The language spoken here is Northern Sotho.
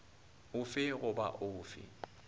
o fe goba o fe